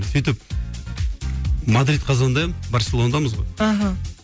сөйтіп мадридка звондаймын барселонадамыз ғой аха